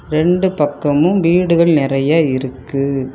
ரெண்டு பக்கமும் வீடுகள் நிறைய இருக்கு.